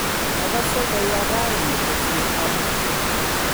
Agase koya raini kosir amut